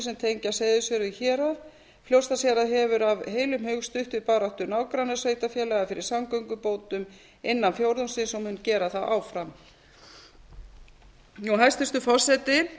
sem tengja seyðisfjörð við hérað fljótsdalshérað hefur af heilum hug stutt við baráttu nágrannasveitarfélaga fyrir samgöngubótum innan fjórðungsins og mun gera það áfram hæstvirtur forseti